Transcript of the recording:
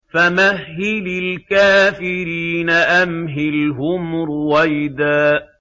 فَمَهِّلِ الْكَافِرِينَ أَمْهِلْهُمْ رُوَيْدًا